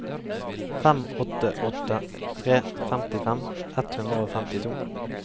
fem åtte åtte tre femtifem ett hundre og femtito